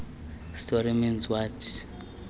story means what